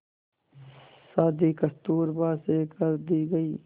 शादी कस्तूरबा से कर दी गई